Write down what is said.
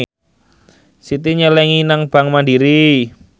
Siti nyelengi nang bank mandiri